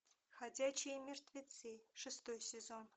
ходячие мертвецы шестой сезон